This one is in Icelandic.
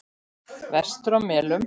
Vestur á Melum.